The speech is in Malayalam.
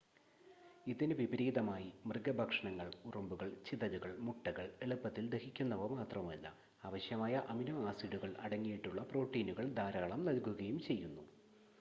ഇതിന് വിപരീതമായി മൃഗ ഭക്ഷണങ്ങൾ ഉറുമ്പുകൾ ചിതലുകൾ മുട്ടകൾ എളുപ്പത്തിൽ ദഹിക്കുന്നവ മാത്രമല്ല അവശ്യമായ അമിനോ ആസിഡുകൾ അടങ്ങിയിട്ടുള്ള പ്രോട്ടീനുകൾ ധാരാളം നൽകുകയും ചെയ്യുന്നു